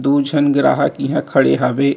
दू झन ग्राहक इहाँ खड़े हावे --